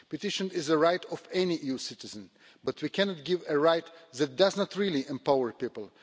Petition is the right of any EU citizen, but we cannot give a right that does not really empower people.